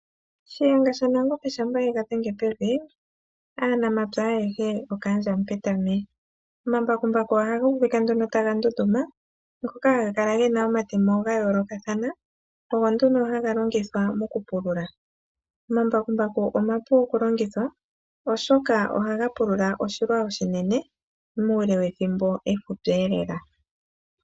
Shiyenga shaNangombe shampa ye ga dhenge pevi, aanamapya ayehe okaandja Mupetami. Omambakumbaku ohaga uvika nduno taga ndunduma, ngoka haga kala ge na omatemo ga yoolokathana, ogo nduno haga longithwa mokupulula. Omambakumbaku omapu okulongithwa, oshoka ohaga pulula oshilwa oshinene muule wethimbo efupi lela.